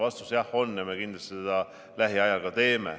Vastus: jah on ja me kindlasti seda lähiajal ka teeme.